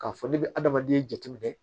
K'a fɔ ne bɛ adamaden jate minɛ